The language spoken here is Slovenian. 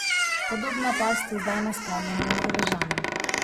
Podobna past je zdaj nastavljena Norvežanom.